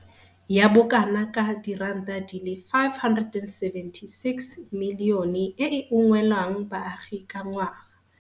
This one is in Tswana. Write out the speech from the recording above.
ya bo kana ka R576 milione e e ungwelang baagi ka ngwaga.